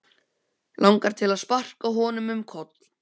Langar til að sparka honum um koll.